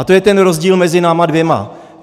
A to je ten rozdíl mezi náma dvěma.